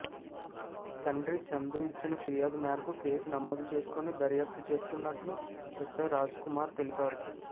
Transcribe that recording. తండ్రి చందు ఇచ్చిన ఫిర్యాదు మేరకు కేసు నమోదు చేసుకుని దర్యాప్తు చేస్తున్నట్లు ఎస్సై రాజ్కుమార్ తెలిపారు